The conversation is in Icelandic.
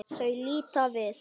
Þau líta við.